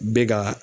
Bɛ ka